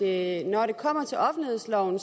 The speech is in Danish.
at når det kommer til offentlighedsloven